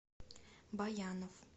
баянов